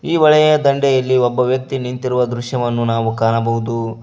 ಈ ಹೊಳೆಯ ದಂಡೆಯಲ್ಲಿ ಒಬ್ಬ ವ್ಯಕ್ತಿ ನಿಂತಿರುವು ದೃಶ್ಯವನ್ನು ನಾವು ಕಾಣಬಹುದು.